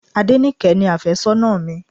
Adenike ni afésónà mi.